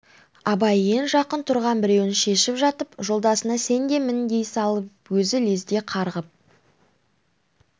абай ең жақын тұрған біреуін шешіп жатып жолдасына сен де мін дей салып өзі лезде қарғып